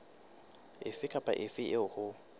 efe kapa efe eo ho